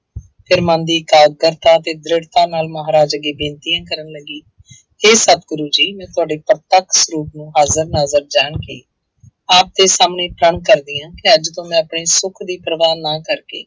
ਫਿਰ ਮਨ ਦੀ ਇਕਾਗਰਤਾ ਅਤੇ ਦ੍ਰਿੜਤਾ ਨਾਲ ਮਹਾਰਾਜ ਅੱਗੇ ਬੇਨਤੀਆਂ ਕਰਨ ਲੱਗੀ ਹੇ ਸਤਿਗੁਰੂ ਜੀ ਮੈਂ ਤੁਹਾਡੇ ਪਰਪਕਸ਼ ਰੂਪ ਨੂੰ ਹਾਜ਼ਰ ਨਾਜ਼ਰ ਜਾਣ ਕੇ ਆਪ ਦੇ ਸਾਹਮਣੇੇ ਪ੍ਰਣ ਕਰਦੀ ਹਾਂ ਕਿ ਅੱਜ ਤੋਂ ਮੈਂ ਆਪਣੇ ਸੁੱਖ ਦੀ ਪ੍ਰਵਾਹ ਨਾ ਕਰਕੇ